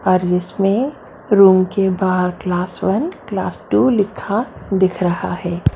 और उसमे रूम के बहार क्लास वन क्लास टू लिखा दिख रहा है।